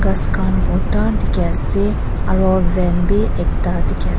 ghas khan borta dikhi ase aro van b ekta dikhias.